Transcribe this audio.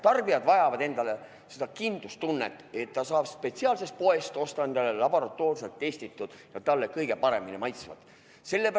Tarbijad vajavad kindlustunnet, et nad saavad spetsiaalsest poest osta laboratoorselt testitud ja neile kõige paremini maitsvat kaupa.